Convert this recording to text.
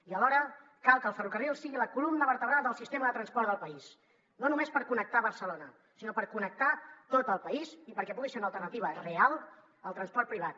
i alhora cal que el ferrocarril sigui la columna vertebral del sistema de transport del país no només per connectar barcelona sinó per connectar tot el país i perquè pugui ser una alternativa real al transport privat